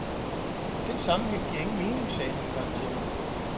Den sammenhæng giver ingen mening, sagde han engang til mig.